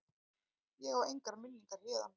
Ég á engar minningar héðan.